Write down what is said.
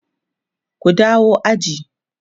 ku dawo aji!